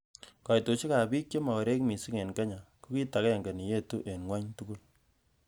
Koitosiekab bik che mokorek missing en Kenya, Ko kit ag'enge neyetu en Ng'wony tugul.